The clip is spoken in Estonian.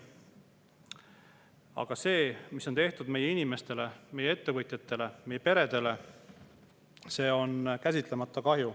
Aga see, mis on tehtud meie inimestele, meie ettevõtjatele, meie peredele, on käsitlemata kahju.